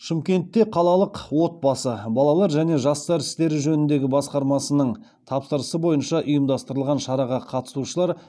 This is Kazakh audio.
шымкентте қалалық отбасы балалар және жастар істері жөніндегі басқармасының тапсырысы бойынша ұымдастырылған шараға қатысушылар